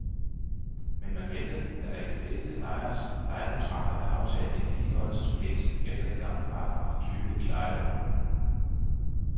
Men man glemte, at der i de fleste lejeres lejekontrakter er aftalt en vedligeholdelsespligt efter den gamle paragraf tyve i lejeloven.